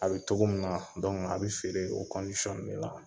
A bi togo min na a bi feere o de la.